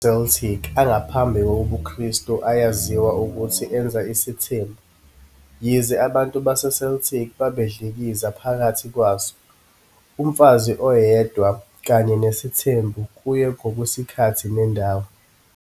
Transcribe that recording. Amanye amaqaba aseCeltic angaphambi kobuKristu ayaziwa ukuthi enza isithembu, yize abantu baseCeltic babedlikiza phakathi kwaso, umfazi oyedwa kanye nesithembu kuye ngokwesikhathi nendawo.